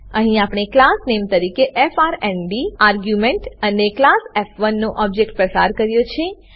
અહીં આપણે class name તરીકે એફઆરએનડી આર્ગ્યુંમેંટ અને ક્લાસ ફ1 નો ઓબજેક્ટ પસાર કર્યો છે